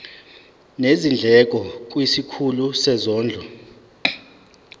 nezindleko kwisikhulu sezondlo